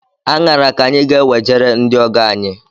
Aṅara ka anyị ga enwejere ndị ọgọ anyi